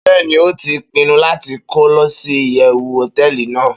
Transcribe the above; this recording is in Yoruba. Beeni, o ti pinu lati kolosi iyewu hoteeli nàá